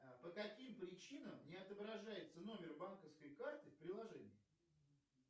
по каким причинам не отображается номер банковской карты в приложении